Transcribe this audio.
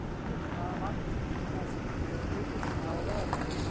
Avantí, hvaða sýningar eru í leikhúsinu á laugardaginn?